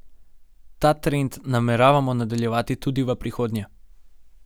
Ta trend nameravamo nadaljevati tudi v prihodnje.